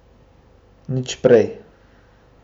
Nič prej.